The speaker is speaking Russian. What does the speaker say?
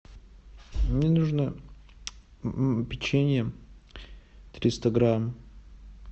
мне нужно печенье триста грамм